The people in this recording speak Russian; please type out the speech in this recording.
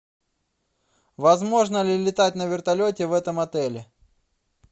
возможно ли летать на вертолете в этом отеле